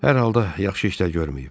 Hər halda yaxşı işlər görməyib.